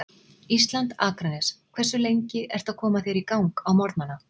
Ísland, Akranes Hversu lengi ertu að koma þér í gang á morgnanna?